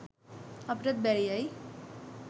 අපිටත් බැරියයි